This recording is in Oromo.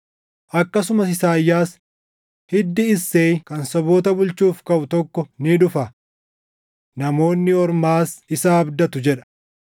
Akkasumas Isaayyaas, “Hiddi Isseey kan saboota bulchuuf kaʼu tokko ni dhufa; Namoonni Ormaas isa abdatu” + 15:12 \+xt Isa 11:10\+xt* jedha.